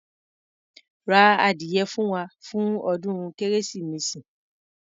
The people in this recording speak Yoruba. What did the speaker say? Ra ádìyẹ fún wa, fún ọdún kérésìmesì.